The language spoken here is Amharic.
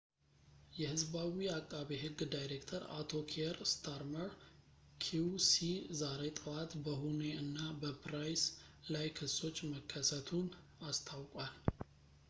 የሕዝባዊ ዓቃቤ ሕግ ዳይሬክተር አቶ ኪየር ስታርመር ኪው.ሲ ዛሬ ጠዋት በሁኔ እና በፕራይስ ላይ ክሶች መከሰቱን አስታውቋል